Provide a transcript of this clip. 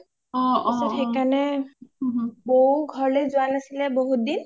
তাৰ পাছত সেই কাৰণেই বৌও ঘ’ৰলে যোৱা নাছিলে বহুত দিন